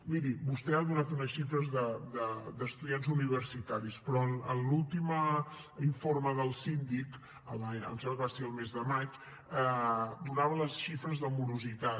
miri vostè ha donat unes xifres d’estudiants universitaris però l’últim informe del síndic em sembla que va ser el mes de maig donava les xifres de morositat